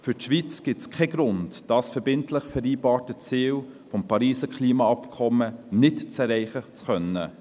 Für die Schweiz gibt es keinen Grund, das verbindlich vereinbarte Ziel des Pariser Klimaabkommens nicht erreichen zu können.